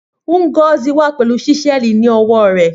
Ngozi wà pẹ̀lú Ṣísẹ́ẹ̀lì ní ọwọ́ rẹ̀,